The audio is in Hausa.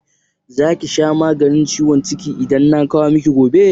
Za ki sha maganin ciwon ciki idan na kawo miki gobe?